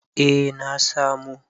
eh na samo